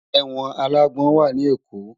Èwòn àlágbòn wá ni Ékó